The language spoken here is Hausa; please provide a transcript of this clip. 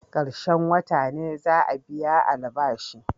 Karshen wota ne za'a biya albashi.